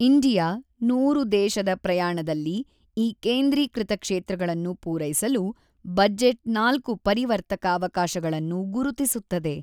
India ೧೦೦ ದೇಶದ ಪ್ರಯಾಣದಲ್ಲಿ ಈ ಕೇಂದ್ರೀಕೃತ ಕ್ಷೇತ್ರಗಳನ್ನು ಪೂರೈಸಲು, ಬಜೆಟ್ ನಾಲ್ಕು ಪರಿವರ್ತಕ ಅವಕಾಶಗಳನ್ನು ಗುರುತಿಸುತ್ತದೆ